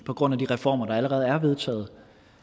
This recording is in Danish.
på grund af de reformer der allerede er vedtaget